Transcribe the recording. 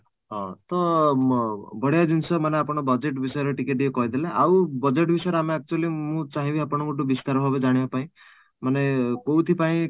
ହଁ, ତ ମଁ ବଢିଆ ଜିନିଷ ମାନେ ଆପଣ budget ବିଷୟରେ ଟିକେ ଟିକେ କହିଦେଲେ ଆଉ budget ବିଷୟରେ ଆମେ actually ମାନେ ମୁଁ ଚାହିଁବି ଆପଣଙ୍କ ଠୁ ବିସ୍ତାର ଭାବେ ଜାଣିବାପାଇଁ ମାନେ କୋଉଠି ପାଇଁ